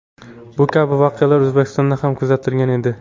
Bu kabi voqealar O‘zbekistonda ham kuzatilgan edi .